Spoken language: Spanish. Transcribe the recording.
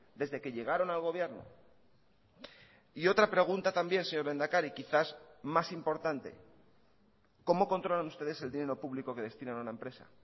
desde que llegaron al gobierno y otra pregunta también señor lehendakari quizás más importante cómo controlan ustedes el dinero público que destinan a una empresa